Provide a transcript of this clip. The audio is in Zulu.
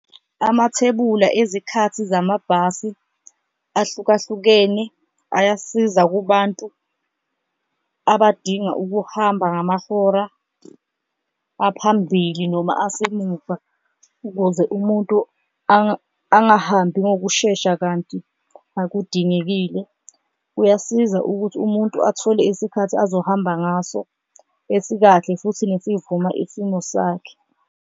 Amathebula ezikhathi zamabhasi ahlukahlukene ayasiza kubantu abadinga ukuhamba ngamahora aphambili noma asemuva, ukuze umuntu angahambi ngokushesha kanti akudingekile. Kuyasiza ukuthi umuntu athole isikhathi azohamba ngaso esikahle futhi nesivuma isimo sakhe.